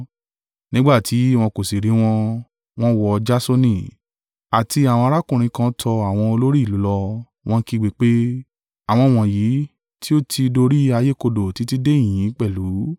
Nígbà tí wọn kò sì rí wọn, wọ́n wọ́ Jasoni, àti àwọn arákùnrin kan tọ àwọn olórí ìlú lọ, wọ́n ń kígbe pé, “Àwọn wọ̀nyí tí o tí dorí ayé kodò títí de ìhín yìí pẹ̀lú.